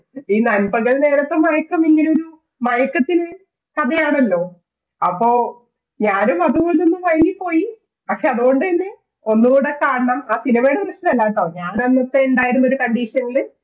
ഈ നൻപകൽ നേരത്ത് മയക്കമില്ലേ, ഒരു മയക്കത്തിന്റെ കഥയാണല്ലോ അപ്പൊ ഞാനും അതുപോലൊന്നു മയങ്ങിപ്പോയി പക്ഷെ അതുകൊണ്ടുതന്നെ ഒന്നുകൂടെ കാണണം ആ cinema യുടെ പ്രശ്നമല്ലാട്ടോ ഞാൻ അന്നത്തെ ഉണ്ടായിരുന്ന ഒരു condition ല്